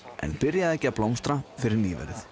en byrjaði ekki að blómstra fyrr en nýverið